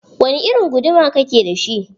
Wani irin guduma ka ke da shi?